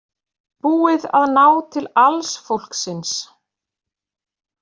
Búið að ná til alls fólksins